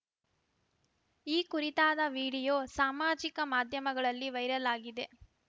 ಈ ಕುರಿತಾದ ವಿಡಿಯೋ ಸಾಮಾಜಿಕ ಮಾಧ್ಯಮಗಳಲ್ಲಿ ವೈರಲ್‌ ಆಗಿದೆ